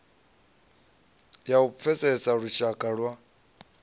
ya u pfesesa lushaka lwa